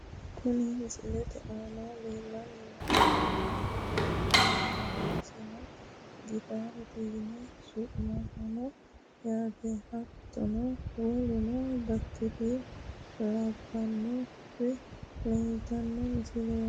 Kuni misilete aana lellanni noohu muuziiqu uduunnicho ikkanna isino gitaarete yine su'minanniho yaate. hattono woluno baatire labbannori leeltanno mulesiinni yaate.